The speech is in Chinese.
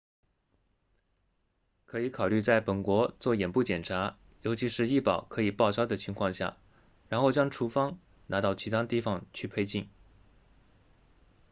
可以考虑在本国做眼部检查尤其是医保可以报销的情况下然后将处方拿到其他地方去配镜